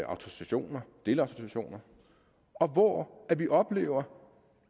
autorisationer delautorisationer og hvor vi oplevede